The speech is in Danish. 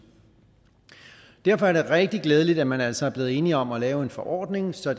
derfor er det rigtig glædeligt at man altså er blevet enige om at lave en forordning så